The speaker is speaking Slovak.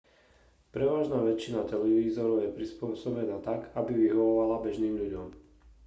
prevažná väčšina televízorov je prispôsobená tak aby vyhovovala bežným ľuďom